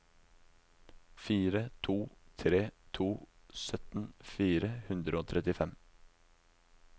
fire to tre to sytten fire hundre og trettifem